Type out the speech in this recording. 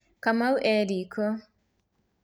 Kamau e riko